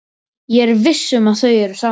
Ég er viss um að þau eru saman.